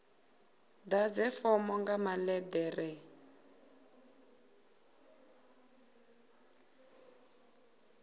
ḓadze fomo nga maḽe ḓere